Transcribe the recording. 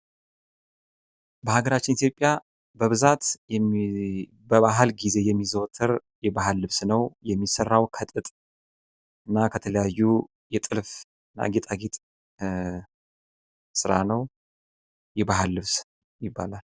በሃገራችን ኢትዮጵያ በብዛት በባህል ጊዜ የሚዘወተር የባህል ልብስ ነው። የሚሰራው ከጥጥ እና ከተለያዩ የጥልፍ እና የጌጣጌጥ ስራ ነው። የባህል ልብስ ይባላል።